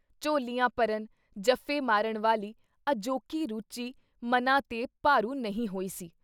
ਝੋਲ਼ੀਆਂ ਭਰਨ, ਜਫ਼ੇ-ਮਾਰਨ ਵਾਲੀ ਅਜੋਕੀ ਰੁਚੀ ਮਨਾਂ ’ਤੇ ਭਾਰੂ ਨਹੀਂ ਹੋਈ ਸੀ।